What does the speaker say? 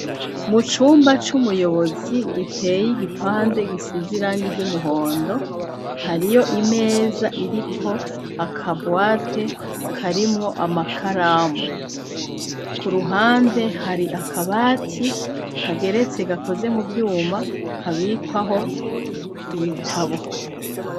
Mu cumba c'umuyobozi giteye igipande gisize irangi ry'umuhondo hariyo imeza iriko akabwate karimwo amakaramu ku ruhande hari akabati kageretse gakoze mu vyuma kabikwaho ibitabo.